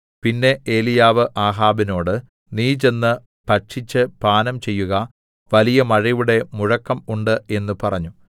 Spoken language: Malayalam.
പിന്നെ ഏലീയാവ് ആഹാബിനോട് നീ ചെന്ന് ഭക്ഷിച്ച് പാനം ചെയ്യുക വലിയ മഴയുടെ മുഴക്കം ഉണ്ട് എന്ന് പറഞ്ഞു